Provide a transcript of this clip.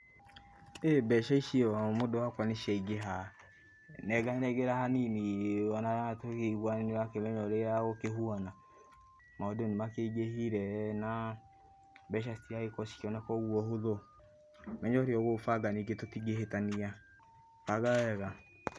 [Iih], mbeca icio mũndũ wakwa nĩciaingĩha, nenganengera hanini ona tũkĩiguane nĩũramenya ũrĩa gũkĩhuana, maũndũ nĩmakĩingĩhire, naa, mbeca citiragĩkorũo cigĩkĩoneka ũguo na ũhũthũ. Menya ũrĩa ũgũbanga ningĩ tũtingĩhĩtania, banga wega.